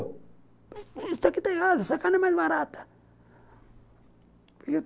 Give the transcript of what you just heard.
Isso aqui está errado, essa cara é mais barata.